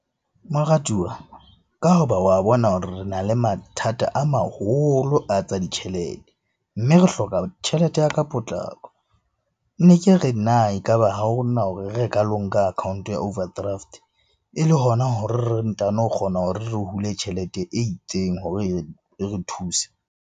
Moratuwa ka hoba wa bona hore re na le mathata a maholo a tsa ditjhelete, mme re hloka tjhelete ya ka potlako. Ne ke re na e ka ba ha ona hore re ka lo nka account-o ya overdraft e le hona hore re ntano o kgona hore re hule tjhelete e itseng hore e re thuse.